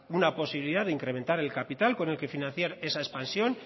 una posibilidad de incrementar el capital con el que financiar esa expansión